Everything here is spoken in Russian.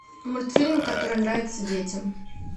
мультфильм который нравится детям